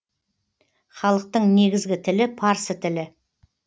халықтың негізгі тілі парсы тілі